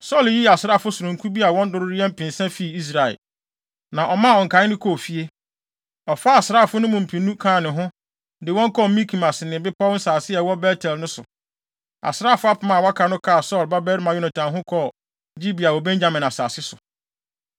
Saulo yii asraafo sononko bi a wɔn dodow yɛ mpensa fii Israel, na ɔmaa nkae no kɔɔ fie. Ɔfaa asraafo no mu mpenu kaa ne ho, de wɔn kɔɔ Mikmas ne bepɔw nsase a ɛwɔ Bet-El no so. Asraafo apem a wɔaka no kaa Saulo babarima Yonatan ho kɔɔ Gibea wɔ Benyamin asase so.